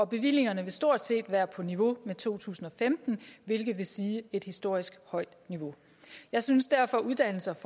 bevillingerne vil stort set være på niveau med to tusind og femten hvilket vil sige et historisk højt niveau jeg synes derfor at uddannelse og